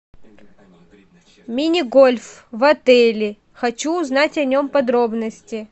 мини гольф в отеле хочу узнать о нем подробности